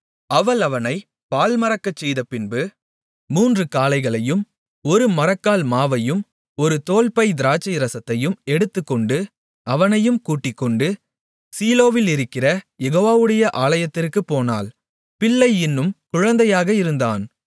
அவள் அவனைப் பால்மறக்கச் செய்தபின்பு மூன்று காளைகளையும் ஒரு மரக்கால் மாவையும் ஒரு தோல்பை திராட்சை ரசத்தையும் எடுத்துக்கொண்டு அவனையும் கூட்டிக்கொண்டு சீலோவிலிருக்கிற யெகோவாவுடைய ஆலயத்திற்குப் போனாள் பிள்ளை இன்னும் குழந்தையாக இருந்தான்